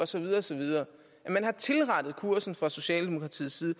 så videre og så videre man har tilrettet kursen fra socialdemokratiets side